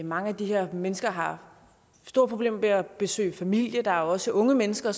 mange af de her mennesker har store problemer med at besøge familie og der er også unge mennesker